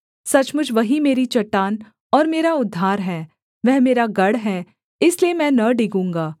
सचमुच वही मेरी चट्टान और मेरा उद्धार है वह मेरा गढ़ है इसलिए मैं न डिगूँगा